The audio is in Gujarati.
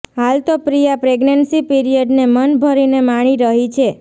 હાલ તો પ્રિયા પ્રેગ્નેન્સી પીરિયડને મન ભરીને માણી રહી છે